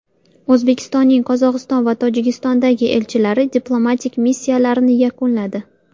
O‘zbekistonning Qozog‘iston va Tojikistondagi elchilari diplomatik missiyalarini yakunladi.